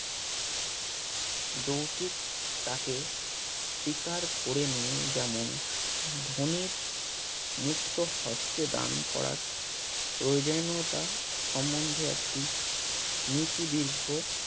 যৌতিক তাকে শিকার করে নিয়ে যেমন ধোনির মুক্ত হস্থে দান করার প্রয়োজনীয়তা সমদ্ধে একটি নীতি দীর্ঘ